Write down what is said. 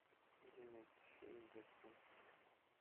где найти фильм дэдпул